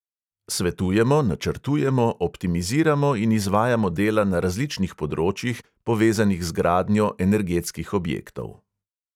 Svetujemo, načrtujemo, optimiziramo in izvajamo dela na različnih področjih, povezanih z gradnjo energetskih objektov.